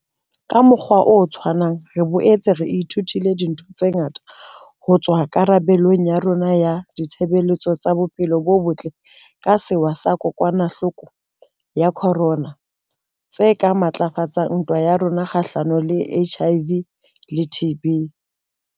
Ka mokgwa o tshwanang, re boetse re ithutile dintho tse ngata ho tswa ho karabelo ya rona ya ditshebeletso tsa bophelo bo botle ka sewa sa kokwanahloko ya corona tse ka matlafatsang ntwa ya rona kgahlano le HIV le TB.